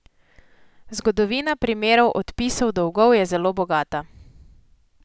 Zgodovina primerov odpisov dolgov je zelo bogata.